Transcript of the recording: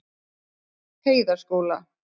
Heiðaskóla